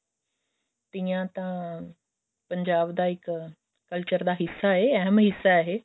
ਤੀਆਂ ਤਾਂ ਪੰਜਾਬ ਦਾ ਇੱਕ culture ਦਾ ਹਿੱਸਾ ਹੈ ਅਹਿਮ ਹਿੱਸਾ ਇਹ